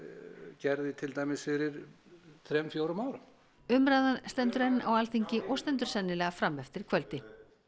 gerði til dæmis fyrir þrem fjórum árum umræðan stendur enn á Alþingi og stendur sennilega fram eftir kvöldi